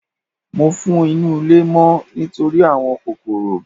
Mo fọ inú ilé mọ́ nítorí àwọn kòkòrò.